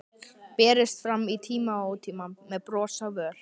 Berist fram í tíma og ótíma, með bros á vör.